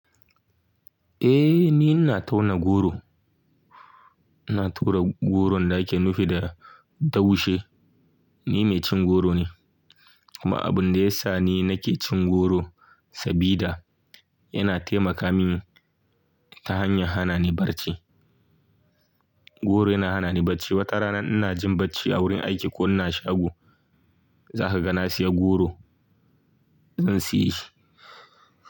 Eh ni ina tauna goro. Ina tura goron da ake nufi da daushe. Ni mai cin goro ne. Kuma abun da ya sa ni nake cin goro sabida yana taimaka mini ta hanyar hana ni barci. Goro yana hana ni barci. Wata rana ina jin barci a wurin aiki ko ina shago, za ka ga na saya goro zan siye shi.